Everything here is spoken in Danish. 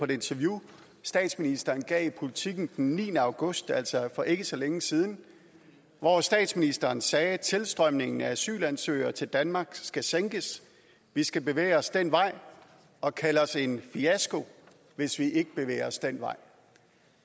et interview statsministeren gav i politiken den niende august altså for ikke så længe siden hvor statsministeren sagde tilstrømningen af asylansøgere til danmark skal sænkes vi skal bevæge os den vej og kalde os en fiasko hvis vi ikke bevæger os den vej